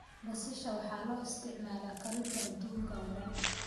Basasha waxaa loo isticmaalaa karinta adduunka oo dhan.